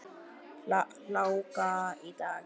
Hláka í dag.